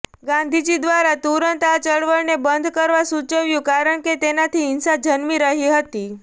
ગાંધીજી દ્વારા તુરંત આ ચળવળને બંધ કરવા સુચવ્યું કારણ કે તેનાથી હિંસા જન્મી રહી હતી